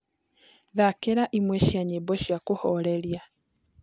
thakĩraĩmwe cia nyĩmbo cĩa kuhoreria